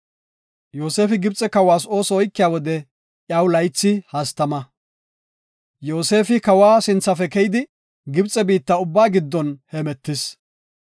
Yoosefi Gibxe kawas ooso oykiya wode, iyaw laythi hastama. Yoosefi kawa sinthafe keyidi, Gibxe biitta ubbaa giddon hemetis.